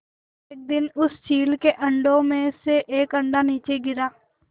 एक दिन उस चील के अंडों में से एक अंडा नीचे गिरा